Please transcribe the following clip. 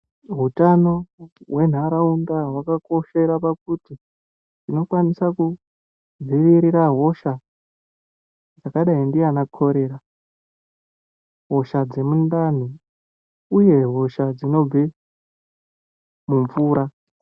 Hutano hwenharaunda hwakakoshera pakuti unokwanisa kudzivirira hosha dzakadai ndiana korera hosha dzemundani uye hosha dzinobve mumvura.